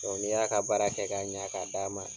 n'i y'a ka baara kɛ k'a ɲɛ k'a d d'a ma,